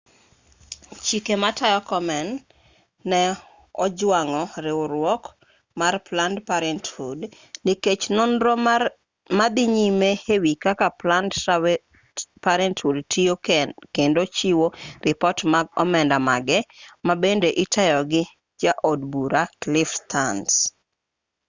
chike matayo komen ne ojwang'o riwruok mar planned parenthood nikech nonro ma dhi nyime e wi kaka planned parenthood tiyo kendo chiwo ripot mag omenda mage ma bende itayo gi ja od bura cliff stearns